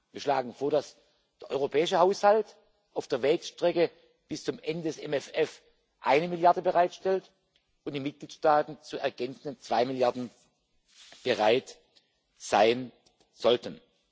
Wir schlagen vor, dass der europäische Haushalt auf der Wegstrecke bis zum Ende des MFR eine Milliarde bereitstellt und die Mitgliedstaaten zu ergänzenden zwei Milliarden bereit sein sollten.